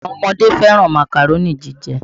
Àwọn ọmọdé fẹ̀ràn Màkàró ni jíjẹ́